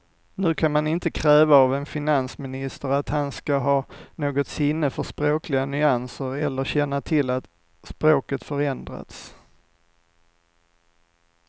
Nu kan man inte kräva av en finansminister att han ska ha något sinne för språkliga nyanser eller känna till att språket förändrats.